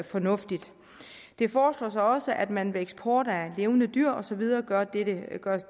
fornuftigt det foreslås også at man ved eksport af levende dyr og så videre gør